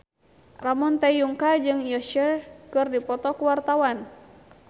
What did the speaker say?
Ramon T. Yungka jeung Usher keur dipoto ku wartawan